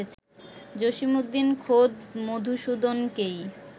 জসীমউদ্দীন খোদ মধুসূদনকেই